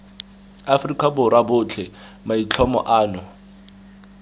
afrika borwa botlhe maitlhomo ano